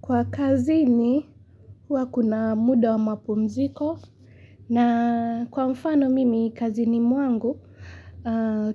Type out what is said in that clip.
Kwa kazini, hua kuna muda wa mapumziko na kwa mfano mimi kazini kwangu,